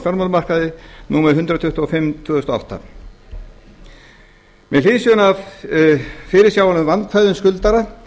fjármálamarkaði númer hundrað tuttugu og fimm tvö þúsund og átta með hliðsjón af fyrirsjáanlegum vandkvæðum skuldara